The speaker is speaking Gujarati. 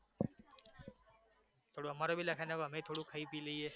થોડુ અમારુ ભી લખાવી નાખો અમે ભી થોડુ ખઈ પી લઈએ